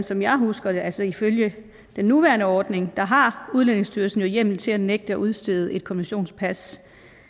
som jeg husker det altså ifølge den nuværende ordning har udlændingestyrelsen jo hjemmel til at nægte at udstede et konventionspas